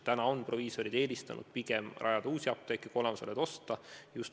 Praegu on proviisorid eelistanud pigem rajada uusi apteeke kui olemasolevaid osta.